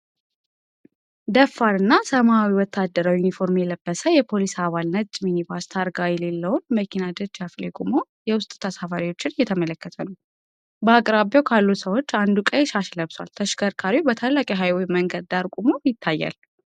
ደፋር እና ሰማያዊ ወታደራዊ ዩኒፎርም የለበሰ የፖሊስ አባል ነጭ ሚኒባስ ታርጋ የሌለውን መኪና ደጃፍ ላይ ቆሞ የውስጥ ተሳፋሪዎችን እየተመለከተ ነው። በአቅራቢያው ካሉ ሰዎች አንዱ ቀይ ሻሽ ለብሷል፣ ተሽከርካሪው በታላቅ የሀይዌይ መንገድ ዳር ቆሞ ይታያል።